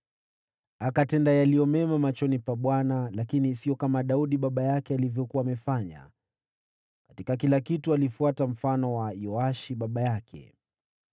Akatenda yaliyo mema machoni pa Bwana , lakini sio kama Daudi baba yake alivyokuwa amefanya. Katika kila kitu alifuata mfano wa Yoashi baba yake.